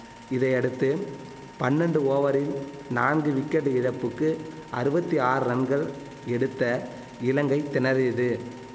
இதையடுத்து பன்னன்டு ஓவரில் நான்கு விக்கெட் இழப்புக்கு அறுவத்தி ஆறு ரன்கள் எடுத்த இலங்கை திணறியது